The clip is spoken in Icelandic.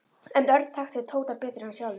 En Örn þekkti Tóta betur en hann sjálfur.